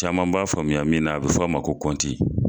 Caman b'a faamuya min na a bɛ f'a ma ko kɔnti.